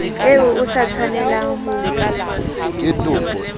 eo o sa tshwanelang ho